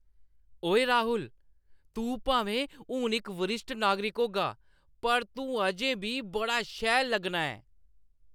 ओए राहुल, तूं भामें हून इक वरिश्ठ नागरिक होगा, पर तूं अजें बी बड़ा शैल लग्गना ऐं।